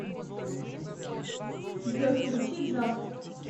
джой включи джаста